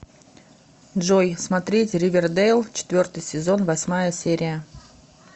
джой смотреть ривердейл четвертый сезон восьмая серия